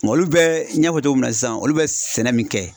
Nga olu bɛ n y'a fɔ cogo min na sisan olu bɛ sɛnɛ min kɛ